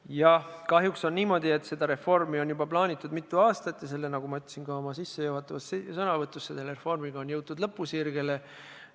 Jah, kahjuks on niimoodi, et seda reformi on juba plaanitud mitu aastat ja, nagu ma ütlesin ka oma sissejuhatavas sõnavõtus, selle reformiga on jõutud lõpusirgele.